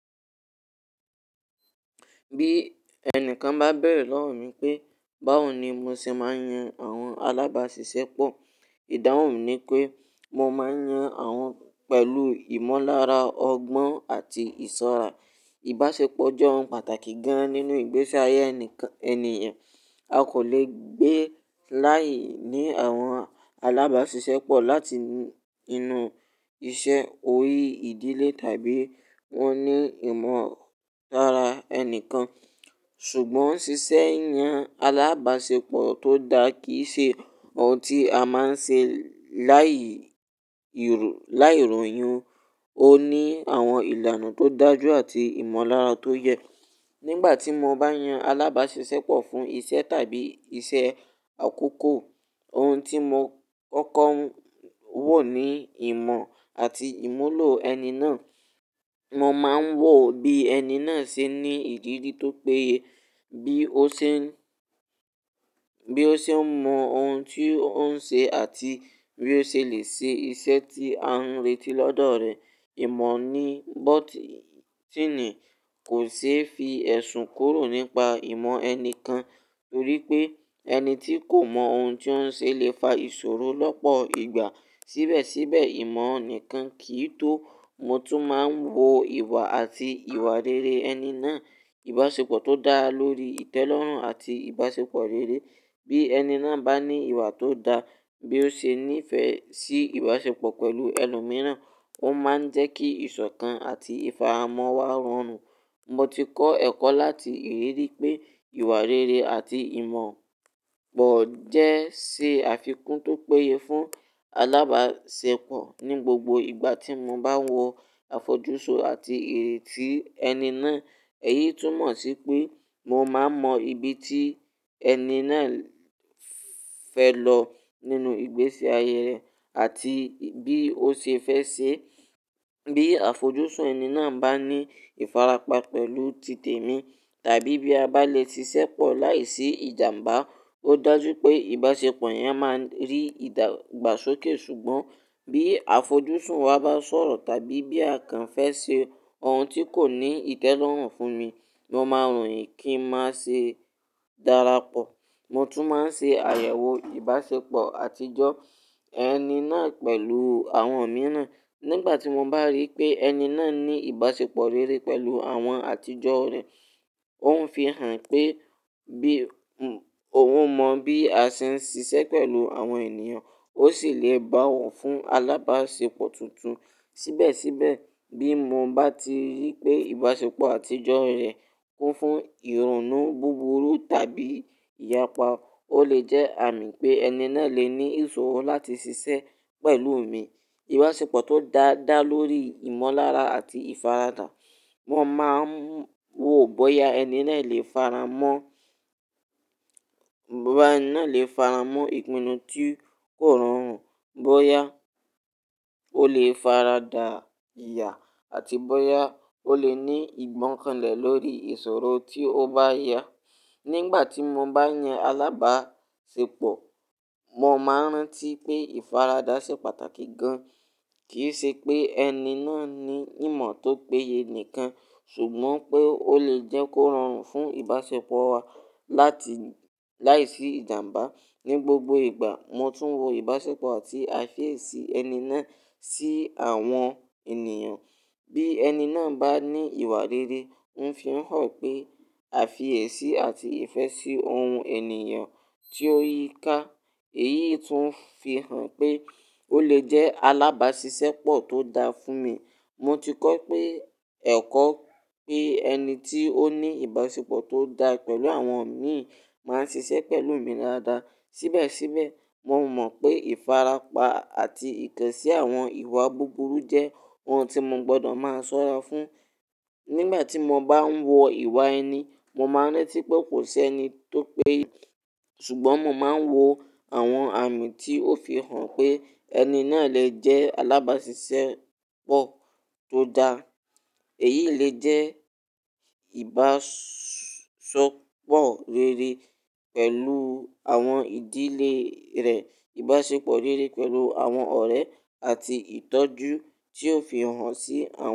Bí ẹnìkan bá bẹ̀rẹ̀ lọ́wọ́ mi pé báwo ni mo ṣe máa ń yan àwọn alábàáṣiṣẹ́pọ̀? Ìdáhùn ni pé mo máa ń yan àwọn pẹ̀lú ìmọ̀lára ọgbọ́n àti ìṣọ́ra. Ìbáṣepọ̀ jẹ́ ohun pàtàkì gan-an nínú ìgbése ayé ẹnikan ẹnìyan. A kò lè gbé láìní àwọn alábáàṣìṣẹ́pọ̀ láti ii inú iṣẹ́ orí ìdílé tàbí wọ́n ní ìmọ̀lára ẹnìkan. Ṣùgbọ́n ṣíṣe yan alábáṣepọ̀ tó dá kì í ṣe ohun tí a máa ń ṣe láì-ìrọ̀, láìrọ̀yìn. Ó ní àwọn ìlànà tó dájú àti ìmọ̀lára tó yẹ. Nígbà tí mo bá yan alábáàṣìṣẹ́pọ̀ fún iṣẹ́ tàbí iṣẹ́ àkọ́kọ́, ohun tí mo kọ́kọ́ ń wò ni ìmọ̀ àti ìmúlò ẹni náà. Mo máa ń wò bí ẹni náà ṣe ní ìdí bi tó péye, bí ó ṣe ń, bí ó ṣe ń mọ ohun tí ó ń ṣe àti bí ó ṣe lè ṣe iṣẹ́ tí a ń retí lọ́dọ̀ rẹ̀. Ìmọ̀ ní bọ́ọ̀tì-ínì kò ṣe é fi ẹ̀sùn kúrò nípa ìmọ̀ ẹnìkan torí pé ẹni tí kò mọ ohun tí ó ń ṣe lè fa ìṣòro lọ́pọ̀ ìgbà. Síbẹ̀síbẹ̀, ìmọ̀ nìkan kì í tó. Mo tún máa ń wo ìwà àti ìwà rere ẹni náà. Ìbáṣepọ̀ tó dá lórí ìtẹ́lọ́rùn àti ìbáṣepọ̀ rere. Bí ẹni náà bá ní ìwà tó dá, bí ó ṣe nífẹ̀ẹ́ sí ìbáṣepọ̀ pẹ̀lú ẹlòmíràn, ó máa ń jẹ́ kí ìṣọ̀kan àti ìfaramọ́ wá rọrùn. Mo ti kọ́ ẹ̀kọ́ láti ìrírí pé ìwà rere àti ìmọ̀ pọ̀ jẹ́ ṣe àfikún tó péye fún alábáàṣepọ̀. Ni gbogbo ìgbà tí mo bá wo àfojúsùn àti ìrètí ẹni náà, èyí tún mọ̀ sí pé mo máa mọ ibi tí ẹni náà fẹ́ lọ nínú ìgbésí ayé rẹ̀ àti bí ó ṣe fẹ́ ṣe. Bí àfojúsùn ẹni náà bá ní ìfarapa pẹ̀lú titẹ̀mi tàbí bí a bá le ṣiṣẹ́pọ̀ láìsí ìjàmbá, ó dájú pé ìbáṣepọ̀ yẹn máa n rí ìdà igbàsókè. Ṣùgbọ́n bí àfojúsùn wa bá sọ̀rọ̀ tàbí bí àkàn fẹ́ ṣe ohun tí kò ní ìtẹ́lọ́rùn fún ni, mo máa ròyìn kí ń má ṣe darapọ̀. Mo tún máa ń ṣe àyẹ̀wò ìbáṣepọ̀ àtijọ́ ẹni náà pẹ̀lù àwọn mìíràn. Nígbà tí mo bá rí pé ẹni náà ní ìbáṣepọ̀ rere pẹ̀lú àwọn àtijọ́ rẹ̀, òun fi hàn pé bí, hun òun mọ bí a ṣe ń ṣiṣẹ́ pẹ̀lú àwọn ènìyàn, ó sì lè bá wọ̀ fún alábáṣepọ̀ tuntun. Síbẹ̀síbẹ̀, bí mo bá ti rí pé ìbáṣepọ̀ àtijọ́ rẹ̀ kún fún ìrọ̀nú búburú tàbí ìyapa, ó lè jẹ́ àmì pé ẹni náà lè ní ìṣòro láti ṣiṣẹ́ pẹ̀lú mi. Ìbáṣepọ̀ tó dá dá lórí ìmọ̀lára àti ìfaradà. Wọ́n máa ń wò bóyá ẹni náà lè faramọ́, bóyá ẹni náà lè faramọ́ ìpinnu tí kò rọrùn, bóyá ó lè faradà ìyà àti bóyá ó lè ní ìgbọ́nkànlẹ̀ lórí ìṣòro tí ó bá yá. Nígbà tí mo bá yan alábáṣepọ̀, mo máa ń rántí pé ìfaradà ṣe pàtàkì gan. Kì í ṣe pé ẹni náà ní ìmọ̀ tó péye nìkan, ṣùgbọ́n pé ó lè jẹ́ kó rọrùn fún ìbáṣepọ̀ wa láti, láìsí ìjàmbá. Ni gbogbo ìgbà, mo tún wo ìbáṣepọ̀ àti àfiesì ẹni náà sí àwọn ènìyàn. Bí ẹni náà bá ní ìwà rere, ń fi hàn pé àfiyèsì àti ìfẹ́ sí ohun ènìyàn tí ó yíká, èyí tún fi hàn pé ó lè jẹ́ alábáàṣìṣẹ́pọ̀ tó dá fún mi. Mo ti kọ́ pé ẹ̀kọ́ pé ẹni tí ó ní ìbáṣepọ̀ tó dá pẹ̀lú àwọn mi máa ń ṣiṣẹ́ pẹ̀lú mi dáadáa. Síbẹ̀síbẹ̀, mo mọ̀ pé ìfarapa àti ìtẹ̀sí àwọn ìwà búburú jẹ́ ohun tí mo gbọdọ̀ máa ṣọ́ra fún. Nígbà tí mo bá ń wo ìwà ẹni, mo máa ń rántí pé kò sẹ́ni tó pe, ṣùgbọ́n mo máa ń wo àwọn àmì tí ó fi hàn pé ẹni náà lè jẹ́ alábáàṣìṣẹ́pọ̀ tó dá. Èyí lè jẹ́ ìbáṣo oo pọ̀ rere pẹ̀lú àwọn ìdílé rẹ̀, ìbáṣepọ̀ rere pẹ̀lú àwọn ọ̀rẹ́ àti ìtọ́jú tí ó fi hàn sí àwọn.